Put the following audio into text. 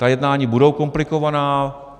Ta jednání budou komplikovaná.